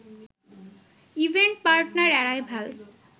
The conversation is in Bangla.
event partner arrival